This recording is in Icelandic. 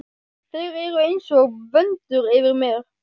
Þeir eru einsog vöndur yfir mér.